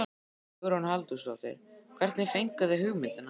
Hugrún Halldórsdóttir: Hvernig fenguð þið hugmyndina?